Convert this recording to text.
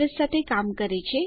તે આઇપી અધ્રેશ સાથે કામ કરે છે